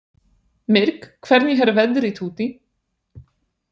Myrk, hvernig er veðrið úti?